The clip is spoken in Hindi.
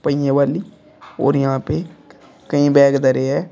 पहिये वाली और यहां पे कई बैग धरे है।